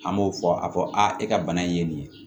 An b'o fɔ a fɔ a e ka bana in ye nin ye